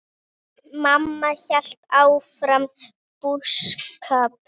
Mamma hélt áfram búskap.